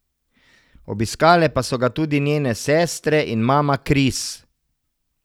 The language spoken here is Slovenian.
Obiskale pa so ga tudi njene sestre in mama Kris.